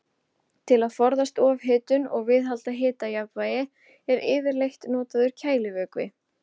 Til að forðast ofhitun og viðhalda hitajafnvægi er yfirleitt notaður kælivökvi.